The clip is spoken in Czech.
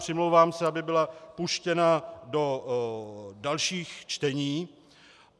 Přimlouvám se, aby byla puštěna do dalších čtení.